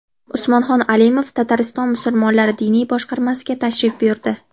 Usmonxon Alimov Tatariston musulmonlari diniy boshqarmasiga tashrif buyurdi .